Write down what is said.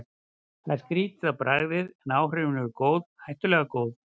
Það er skrýtið á bragðið, en áhrifin eru góð, hættulega góð.